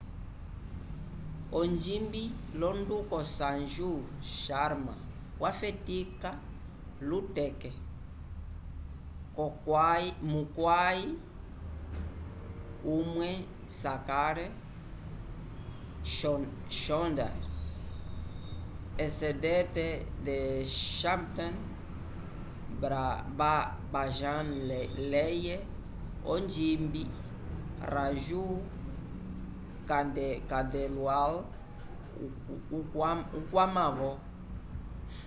ogimbi londuco sanju sharma wafetica luteke mukway umwe shankar choudhar esented the chhappan bhajan leye onjimbi raju khandelwal ukwama vo